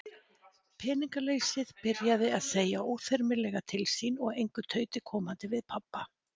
Peningaleysið byrjað að segja óþyrmilega til sín og engu tauti komandi við pabba.